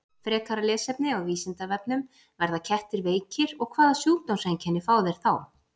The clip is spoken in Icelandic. Frekara lesefni á Vísindavefnum: Verða kettir veikir og hvaða sjúkdómseinkenni fá þeir þá?